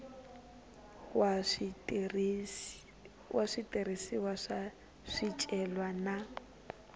wa switirhisiwa swa swicelwa na